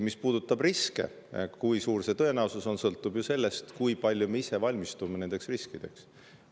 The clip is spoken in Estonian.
Mis puudutab riske, siis kui suur see tõenäosus on, sõltub ju sellest, kui palju me ise nendeks riskideks valmistume.